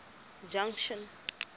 junction